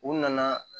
U nana